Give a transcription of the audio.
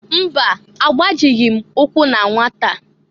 Mba! Agbajịghị m ụkwụ na nwata.